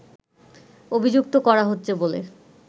অভিযুক্ত করা হচ্ছে বলে